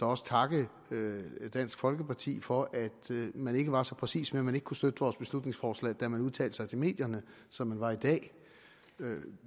også takke dansk folkeparti for at man ikke var så præcis med at man ikke kunne støtte vores beslutningsforslag da man udtalte sig til medierne som man var i dag